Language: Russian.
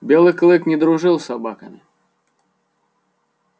белый клык не дружил с собаками